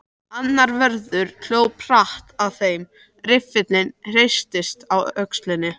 Annar vörður hljóp hratt að þeim, riffillinn hristist á öxlinni.